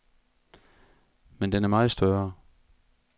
Men den er meget større.